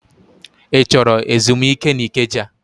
Ị chọrọ ezumike n'Ikeja?